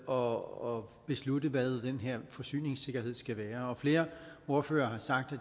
og beslutte hvad den her forsyningssikkerhed skal være flere ordførere har sagt at